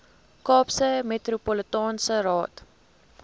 kaapse metropolitaanse raad